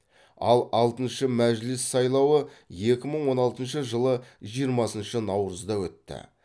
ал алтыншы мәжіліс сайлауы екі мың он алтыншы жылы жиырмасыншы наурызда өтті